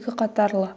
екі қатарлы